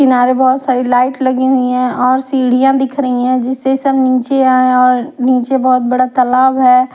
किनारे बहुत सारी लाइट लगी हुई है और सीढ़ियां दिख रही हैं जिससे सब नीचे आए और नीचे बहुत बड़ा तालाब है।